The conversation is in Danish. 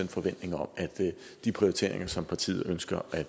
forventning om at de prioriteringer som partiet ønsker at